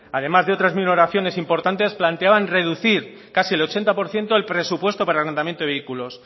además de otras mil oraciones importantes planteaban reducir casi el ochenta por ciento el presupuesto para el arredramiento de vehículos